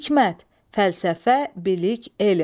Hikmət, fəlsəfə, bilik, elm.